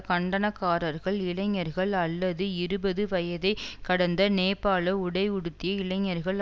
கண்டனக்காரர்கள் இளைஞர்கள் அல்லது இருபது வயதை கடந்த நேபாள உடை உடுத்திய இளைஞர்கள்